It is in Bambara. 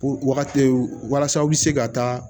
Wagati walasa u bɛ se ka taa